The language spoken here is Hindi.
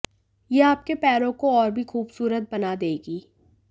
ये आपके पैरों को और भी खूबसूरत बना देगी